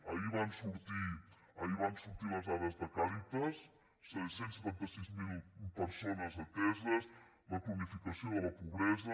ahir van sortir les dades de càritas cent i setanta sis mil persones ateses la cronificació de la pobresa